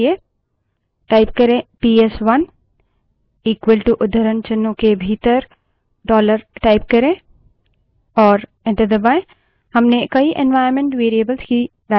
वापस आने के लिए पीएसवन इक्वलto उद्धरणचिन्हों के भीतर dollar type करें और enter दबायें